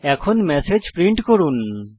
এখন message print করুন